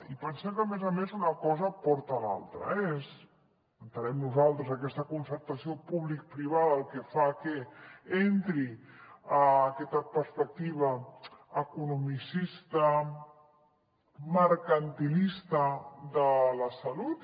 i pensem que a més a més una cosa porta a l’altra eh entenem nosaltres que aquesta concertació publicoprivada fa que entri aquesta perspectiva economicista mercantilista de la salut